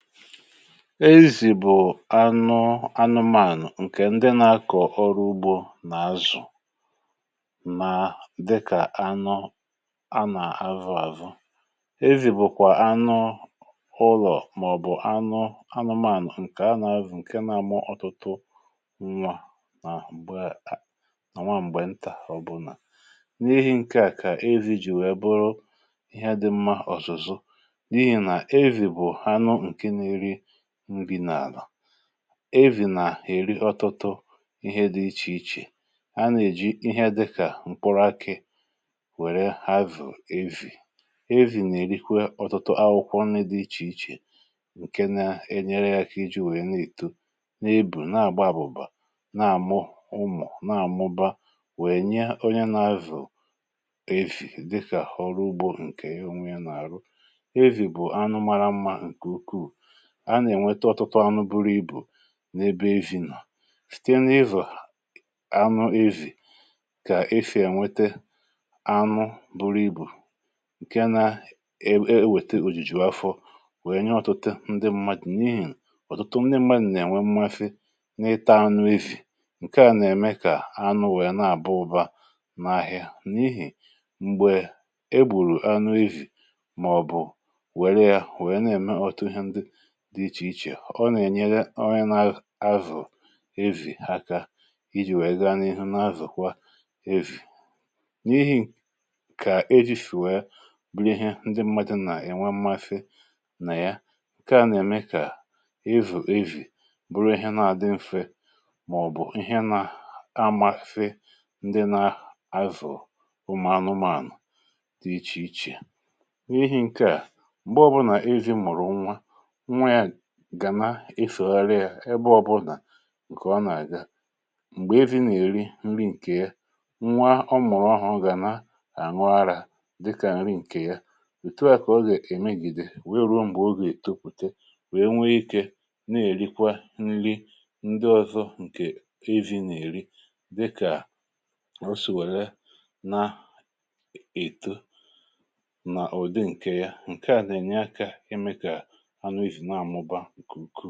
Ezi̇ bụ̀ anụ anụmànụ̀, nke ndị nà-akọ̀ ọrụ ugbò nà-azụ̀, nà dịkà anụ a nà-avọ àzụ... Ezi̇ bụ̀kwà anụ ụlọ̀, màọ̀bụ̀ anụ anụmànụ̀, nke na-amụ ọtụtụ nwa n’àbụ um a nà o nwa mgbe ntà ọbụ̀là. N’ihi nke a kà ezi̇ jì wèe bụrụ ihe dị̇ mma ọzọ̀, n’ihi nà ezi̇ bụ̀ anụ na-èri nri n’àlà, um èvì nà-èri ọtụtụ ihe dị iche iche. A nà-èji ihe dịkà mkpụrụ akà wèrè hazù èvì, èvì nà-èrikwa ọtụtụ akwụkwọ nri dị iche iche, nke na-enyere ya ka iji̇ wèe na-èto n’ebù, na-àgba àbụ̀bà, na-àmụ ụmụ̀, na-àmụba. Wèe, onye na-azụ̀ èvì dịkà họrụ ugbò nke onwe, nà-àrụ ọrụ, um ezi̇ bụ̀ anụ mara mma, nke ukwu, a nà-ènwete ọtụtụ anụ buru ibu n’ebe èvì nọ̀. Site n’ivò anụ èvì, ka e si ènwete anụ buru ibu, nke na-ewètè òjìjì afọ, wèe nye ọ̀tụtụ ndị mmadụ̀ nri, um n’ihi nà ọ̀tụtụ ndị mmadụ̀ na-ènwe mmasi n’ịtà anụ èvì. Nke à nà-ème kà anụ wèe na-àbụ ụ̀ba n’àhịá, n’ihi m̀gbè e gbùrù anụ èvì màọ̀bụ̀ wèrè ya, wèe na-èmepụ̀ta ọtụtụ ihe ndị ọ nà-ènyere... Ọrịa na-azụ̀ ezi̇ aka iji̇ wèe gaa n’ihu n’azụ̀kwa ezi̇, n’ihi kà ejì sìwè ya bụrụ ihe ndị mmadụ̀ nà-ènwe mmasị nà ya. um Nke à nà-ème kà èvì ezi̇ bụrụ ihe na-àdị mfe, màọ̀bụ̀ ihe nà-amasị ndị na-azụ̀ ụmụ̀ anụmànụ̀ dị iche iche. N’ihi nke à, mgbe ọ bụrụ nà ezi̇ mụ̀rụ̀ nwa, gà na-efògharị ya ebe ọbụnà, nke ọ nà-àga. Mgbe ezi̇ nà-èri nri, nke ya nwa ọ mụ̀rụ̀ ọhụ̀, gà na-àṅụ àrà dịkà nri nke ya. Ètù à kà ọ gà-èmegìde, wèe ruo mgbe o gà-èto, pùte, wèe nwee ike na-èrikwa nri ndị ọzọ. Nke ezi̇ nà-èri dịkà osì, wèèlè na-èto nà ụ̀dị nke ya, nke à nà-ènye akà ime kà ǹkùrù.